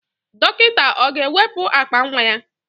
Dọkịta ọ ga-ewepụ akpa nwa ya?